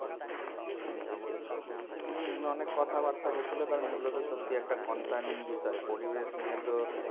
হম অনেক কথা বার্তা হয়েছিলো এটা concerning বিষয় পরিবেশ নিয়ে তো